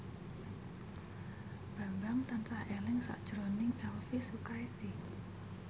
Bambang tansah eling sakjroning Elvy Sukaesih